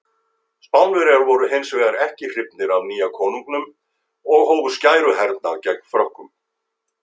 Spánverjar voru hins vegar ekki hrifnir af nýja konunginum og hófu skæruhernað gegn Frökkum.